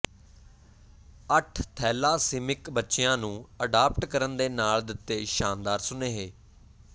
ਅਠ ਥੈਲਾਸੀਮਿਕ ਬੱਚਿਆਂ ਨੂੰ ਅਡਾਪਟ ਕਰਨ ਦੇ ਨਾਲ ਦਿੱਤੇ ਸ਼ਾਨਦਾਰ ਸੁਨੇਹੇ